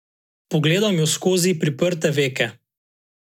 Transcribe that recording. Pogledam jo skozi priprte veke.